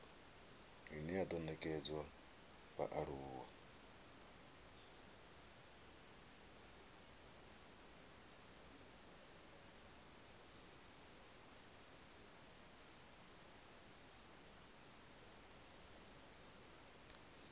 ine ya do nekedzwa vhaaluwa